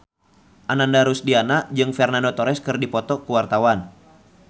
Ananda Rusdiana jeung Fernando Torres keur dipoto ku wartawan